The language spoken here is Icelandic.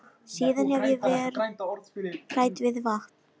Síðan hef ég verð hrædd við vatn.